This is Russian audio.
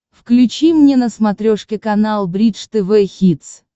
включи мне на смотрешке канал бридж тв хитс